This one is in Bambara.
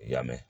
I y'a mɛn